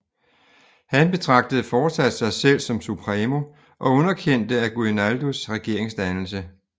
Han betragtede fortsat sig selv som Supremo og underkendte Aguinaldos regeringsdannelse